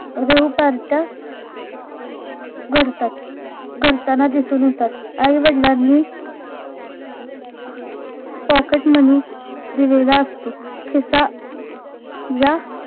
rev पार्ट्या घडतात घडताना दिसून येतात आईवडलांनी pocket money दिलेला असतो खिसा या